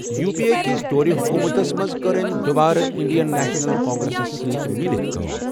U P A کِس دورِ حکوٗمتَس منٛز کٔر أمی دُوبارٕ اِنڈین نیشنَل کانٛگریسَس سٟتی مِلِتھ کٲم.